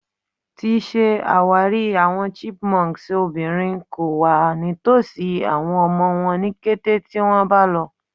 Ti ṣe awari awọn chipmunks obinrin ko wa nitosi awọn ọmọ wọn ni kete ti wọn ba lọ